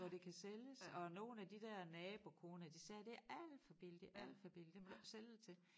Hvor det kan sælges og nogle af de der nabokoner de sagde det alt for billigt det alt for billigt det må du ikke sælge det til